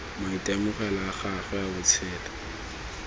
maitemogelo a gagwe a botshelo